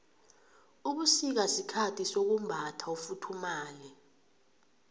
ubusika sikhathi sokumbatha ufuthumale